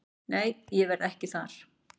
Nei ég verð ekki þar.